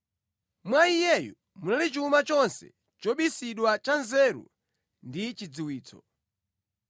Mwa Iyeyu muli chuma chonse chobisidwa cha nzeru ndi chidziwitso.